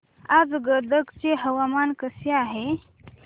आज गदग चे हवामान कसे आहे